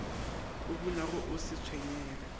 o bunago o sa tshwenyege